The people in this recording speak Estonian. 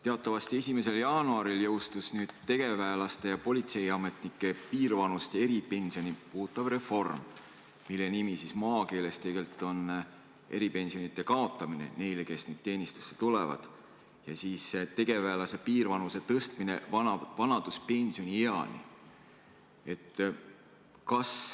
Teatavasti 1. jaanuaril jõustus tegevväelaste ja politseiametnike piirvanust ja eripensioni puudutav reform, mille nimi maakeeles on eripensionide kaotamine neil, kes nüüd teenistusse tulevad, ja tegevväelase piirvanuse tõstmine vanaduspensioni eani.